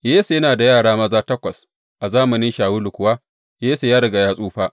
Yesse yana da yara maza takwas, a zamanin Shawulu kuwa, Yesse ya riga ya tsufa.